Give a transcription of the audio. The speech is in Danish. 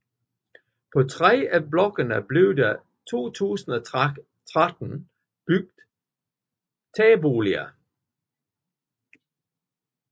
På 3 af blokkene blev der i 2013 bygget tagboliger